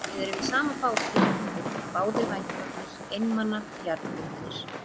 Við erum í sama báti, litli fugl, báðir vængbrotnir, einmana, jarðbundnir.